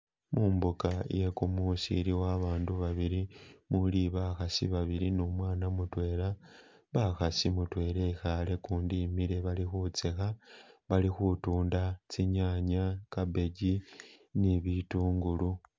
Mumbuga yegumusi iliwo abandu babili muli bakhasi babili ni umwana mudwela bakhasi mudwela ekhale gundi imile bali khusekha bai khutunda tsinyanya cabbage ni bitungulu.